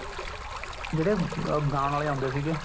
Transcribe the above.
ਜਿਹੜੇ ਗਾਣ ਵਾਲੇ ਆਉਂਦੇ ਸੀਗੇ